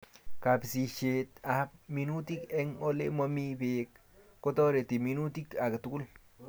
Kapisishet ab minutik eng' ole mami beek kotareti minutik agetugul